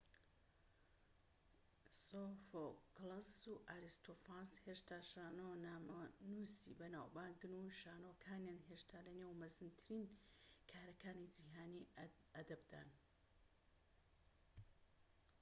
سۆفۆکڵس و ئاریستۆفانس هێشتا شانۆنامەنووسی بەناو بانگن و شانۆکانیان هێشتا لە نێو مەزنترین کارەکانی جیھانی ئەدەبدان